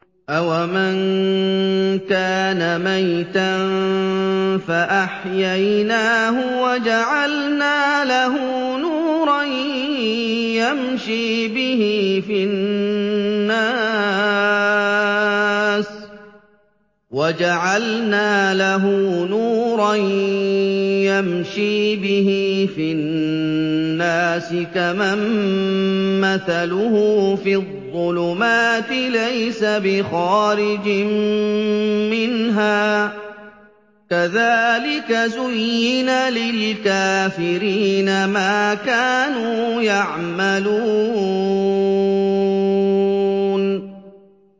أَوَمَن كَانَ مَيْتًا فَأَحْيَيْنَاهُ وَجَعَلْنَا لَهُ نُورًا يَمْشِي بِهِ فِي النَّاسِ كَمَن مَّثَلُهُ فِي الظُّلُمَاتِ لَيْسَ بِخَارِجٍ مِّنْهَا ۚ كَذَٰلِكَ زُيِّنَ لِلْكَافِرِينَ مَا كَانُوا يَعْمَلُونَ